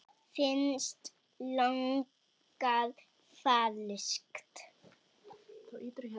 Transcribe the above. Mér finnst lagið falskt.